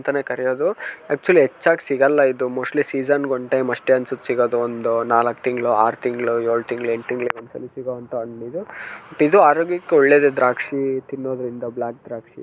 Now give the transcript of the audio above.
ಅಂತಾನೆ ಕರೆಯೋದು ಅಕ್ಚುಲಿ ಹೆಚ್ಚಾಗ ಸಿಗಲ್ಲ ಇದು ಮೋಸ್ಟ್ಲಿ ಸೀಸನ್ ಗೆ ಒಂದ್ ಟೈಮ್ ಅಷ್ಟೇ ಅನ್ಸುತ್ತೆ ಸಿಗೋದು ಒಂದು ನಾಲಕ್ಕ್ ತಿಂಗಳು ಆರ್ ತಿಂಗಳು ಏಳು ತಿಂಗಳು ಎಂಟ್ ತಿಂಗಳಿಗೊಂದ್ ಸಲ ಸಿಗುವಂತಹ ಹಣ್ಣ ಇದು ಬಟ್ ಇದು ಆರೋಗ್ಯಕ್ಕೆ ಒಳ್ಳೇದು ದ್ರಾಕ್ಷಿ ತಿನ್ನೋದ್ರಿಂದ ಬ್ಲಾಕ್ ದ್ರಾಕ್ಷಿ .